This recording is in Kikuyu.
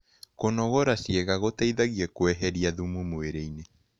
Kũnogora cĩĩega gũteĩthagĩa kweherĩa thũmũ mwĩrĩĩnĩ